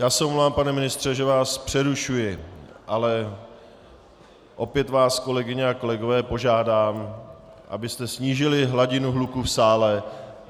Já se omlouvám, pane ministře, že vás přerušuji, ale opět vás kolegyně a kolegové požádám, abyste snížili hladinu hluku v sále.